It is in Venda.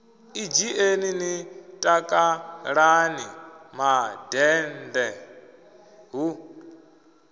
ḓidzhieni ni takalani mandende hu